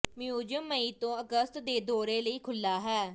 museum ਮਈ ਤੋਂ ਅਗਸਤ ਦੇ ਦੌਰੇ ਲਈ ਖੁੱਲ੍ਹਾ ਹੈ